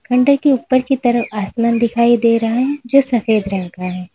खंडहर के ऊपर की तरफ आसमान दिखाई दे रहा है जो सफेद रंग का है।